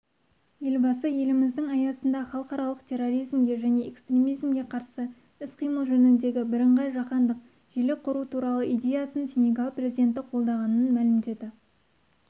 елбасы еліміздің аясында халықаралық терроризмге және экстремизмге қарсы іс-қимыл жөніндегі бірыңғай жаһандық желі құру туралы идеясын сенегал президенті қолдағанын мәлімдеді